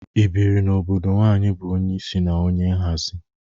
I bịrị n'obodo nwaanyị bụ onye isi na onye nhazị?